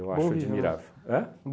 acho admirável. Ãn?